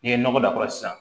N'i ye nɔgɔ k'a kɔrɔ sisan